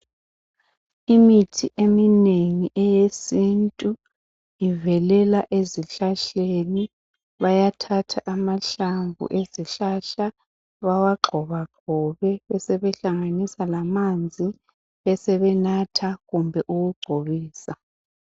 Imithi eminengi eyesintu ivelela ezihlahleni bayathatha amahlamvu ezihlahla bawagxobagxobe besebehlanganisa lamanzi besebenatha kumbe ukugcobisa.